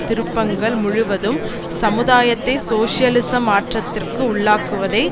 திருப்பங்கள் முழுவதும் சமுதாயத்தை சோசியலிச மாற்றத்திற்கு உள்ளாக்குவதை